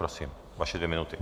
Prosím, vaše dvě minuty.